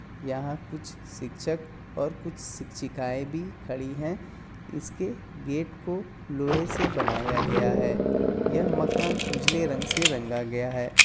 यहाँ कुछ शिक्षक और कुछ शिक्षिकाएं भी खड़ी है इसके गेट को लोहें से बानया गया है यह माकन उजले रंग से रंगा गया है।